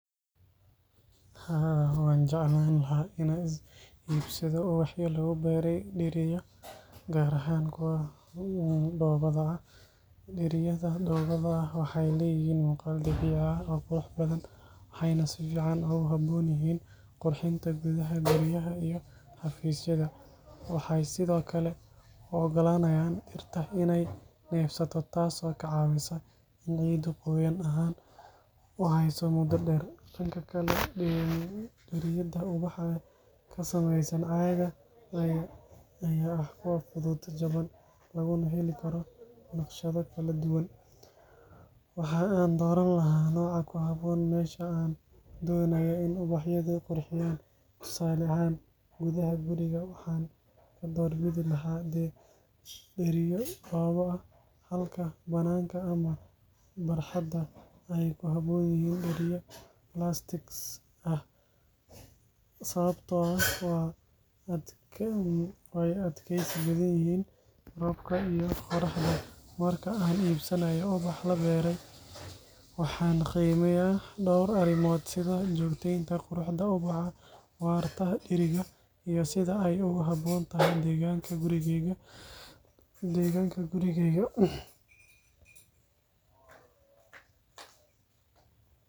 Haa, waan jeclaan lahaa inaan iibsado ubaxyo lagu beeray dheriyo, gaar ahaan kuwa dhoobada ah. Dheriyada dhoobada ah waxay leeyihiin muuqaal dabiici ah oo qurux badan, waxayna si fiican ugu habboon yihiin qurxinta gudaha guryaha iyo xafiisyada. Waxay sidoo kale u oggolaanayaan dhirta inay neefsato, taasoo ka caawisa in ciiddu qoyaan ahaan u hayso muddo dheer. Dhanka kale, dheriyada ubaxa ee ka samaysan caaga ayaa ah kuwo fudud, jaban, laguna heli karo naqshado kala duwan. Waxa aan dooran lahaa nooca ku habboon meesha aan doonayo in ubaxyadu qurxiyaan. Tusaale ahaan, gudaha guriga waxaan ka doorbidi lahaa dheriyo dhoobo ah, halka bannaanka ama barxadda ay ku habboon yihiin dheriyada plastic ah sababtoo ah way adkaysi badan yihiin roobka iyo qorraxda. Marka aan iibsanayo ubax la beeryay, waxaan qiimeeyaa dhowr arrimood sida joogteynta quruxda ubaxa, waarta dheriga, iyo sida ay ugu habboon tahay deegaanka gurigeyga.